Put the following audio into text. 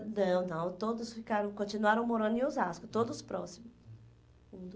Não, não, todos ficaram, continuaram morando em Osasco, todos próximos, um do